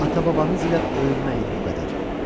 Ata-babanız ilə öyünməyin bu qədər.